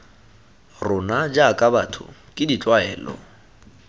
rona jaaka batho ke ditlwaelo